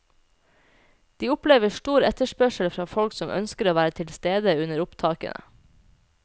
De opplever stor etterspørsel fra folk som ønsker å være til stede under opptakene.